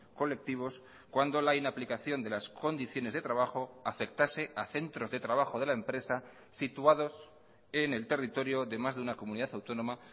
colectivos cuando la inaplicación de las condiciones de trabajo afectase a centros de trabajo de la empresa situados en el territorio de más de una comunidad autónoma